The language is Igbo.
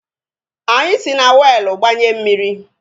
Anyị si na weelu gbanye mmiri